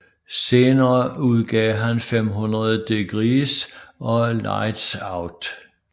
Senere udgav han 500 Degreez og Lightz Out